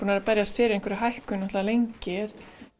að berjast fyrir hækkun lengi